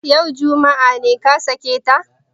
Yau, juma'a, ne ka sake ta?